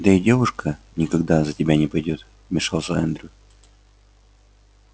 да и девушка никогда за тебя не пойдёт вмешался эндрю